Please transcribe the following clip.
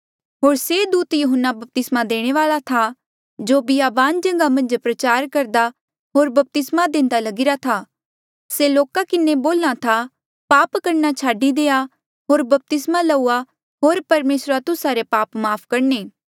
होर से दूत यहून्ना बपतिस्मा देणे वाल्आ था जो बियाबान जगहा मन्झ प्रचार करदा होर बपतिस्मा देंदा लगीरा था से लोका किन्हें बोल्हा था पाप करणा छाडी देआ होर बपतिस्मा लउआ होर परमेसरा तुस्सा रे पाप माफ़ करणे